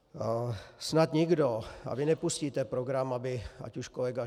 Snad nikdo, a vy nepustíte program, aby ať už kolega